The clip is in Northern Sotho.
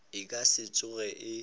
e ka se tsoge e